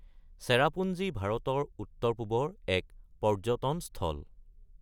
চেৰাপুঞ্জি ভাৰতৰ উত্তৰ-পূবৰ এক পৰ্যটন স্থল।